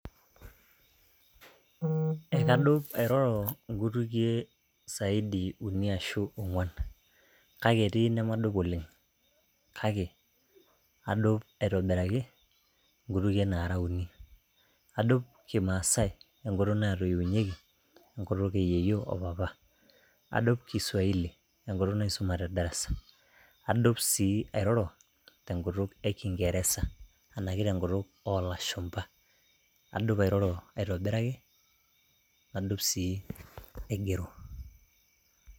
Ee kadup airoro nkutukie saidi uni ashu ongwan ,kake etii inemadup oleng, kake adup aitobiraki nkutukie nara uni. Adup kimaasae enkutuk natoiwunyieki ,enkutuk eyieyio opapa. Adup kiswahili enkutuk naisuma te darasa . Adup sii airoro tenkutuk e kingeresa anake tenkutuk olashumba . Adup airoro aitobiraki, nadup sii aigero.